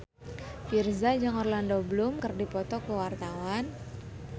Virzha jeung Orlando Bloom keur dipoto ku wartawan